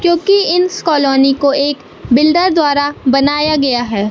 क्योंकि इन स कालोनी को एक बिल्डर द्वारा बनाया गया है।